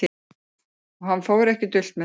Og hann fór ekki dult með það.